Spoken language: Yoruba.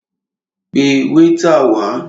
Pẹ wáítà wá!